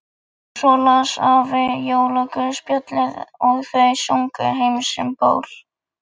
Svo las afi jólaguðspjallið og þau sungu Heims um ból.